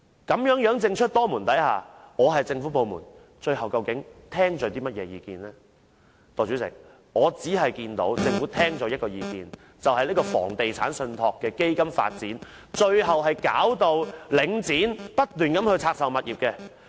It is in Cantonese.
究竟政府部門最終會聽取那一方的意見呢？代理主席，我所看到的，是政府聽取了有關發展房地產信託基金的建議，最後導致領展不斷拆售物業。